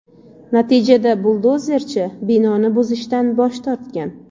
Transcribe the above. Natijada buldozerchi binoni buzishdan bosh tortgan.